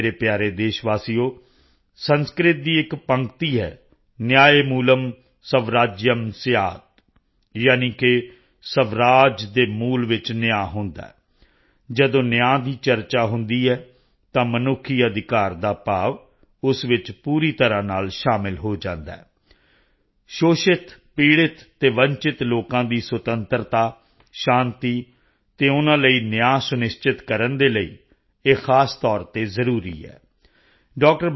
ਮੇਰੇ ਪਿਆਰੇ ਦੇਸ਼ ਵਾਸੀਓ ਸੰਸਕ੍ਰਿਤ ਦੀ ਇਕ ਪੰਕਤੀ ਹੈ ਨਿਆਏਮੂਲੰ ਸਵਰਾਜ੍ਯੰ ਸ੍ਯਾਤ੍ ਯਾਨਿਕੇ ਸਵਰਾਜ ਦੇ ਮੂਲ ਵਿੱਚ ਨਿਆਂ ਹੁੰਦਾ ਹੈ ਜਦੋਂ ਨਿਆਂ ਦੀ ਚਰਚਾ ਹੁੰਦੀ ਹੈ ਤਾਂ ਮਨੁੱਖੀ ਅਧਿਕਾਰ ਦਾ ਭਾਵ ਉਸ ਵਿੱਚ ਪੂਰੀ ਤਰ੍ਹਾਂ ਨਾਲ ਸ਼ਾਮਲ ਹੋ ਜਾਂਦਾ ਹੈ ਸ਼ੋਸ਼ਿਤ ਪੀੜਿਤ ਅਤੇ ਵੰਚਿਤ ਲੋਕਾਂ ਦੀ ਸੁਤੰਤਰਤਾ ਸ਼ਾਂਤੀ ਅਤੇ ਉਨ੍ਹਾਂ ਲਈ ਨਿਆਂ ਸੁਨਿਸ਼ਚਿਤ ਕਰਨ ਦੇ ਲਈ ਇਹ ਖ਼ਾਸ ਤੌਰ ਤੇ ਜ਼ਰੂਰੀ ਹੈ ਡਾ